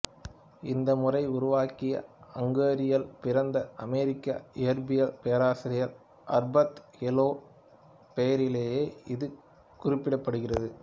இந்த முறையை உருவாக்கிய அங்கேரியில் பிறந்த அமெரிக்க இயற்பியல் பேராசிரியர் அர்பத் எலோ பெயரிலேயே இது குறிப்பிடப்படுகிறது